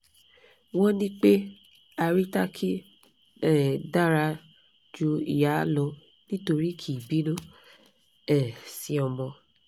won ni pe haritaki um dara ju iya lo nitori ki i binu um si omo